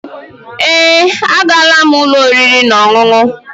Èé, agaala m ụlọ oriri na ọṅụṅụ.